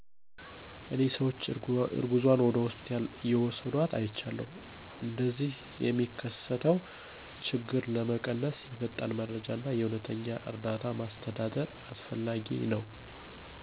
እኔ ሰዎች እርጉዝዋን ወደ ሆስፒታል እየውሰድዋት አይቻለሁ። እንደዚህ የሚከሰተው ችግር ለመቀነስ የፈጣን መረጃ እና የእውነተኛ እርዳታ ማስተዳደር አስፈላጊ ነው።